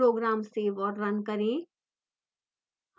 program save औऱ run करें